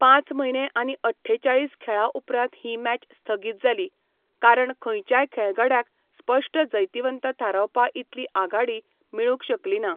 पांच म्हयने आनी अठ्ठेचाळीस खेळां उपरांत ही मॅच स्थगीत जाली, कारण खंयच्याच खेळगड्याक स्पश्ट जैतिवंत थारावपा इतली आघाडी मेळूंक शकली ना.